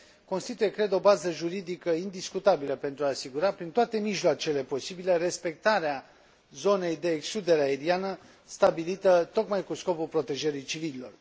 constituie, cred, o bază juridică indiscutabilă pentru a asigura, prin toate mijloacele posibile, respectarea zonei de excludere aeriană stabilită tocmai cu scopul protejării civililor.